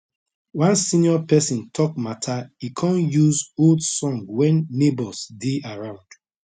one senior pesin talk mata e con use old song when neighbours dey around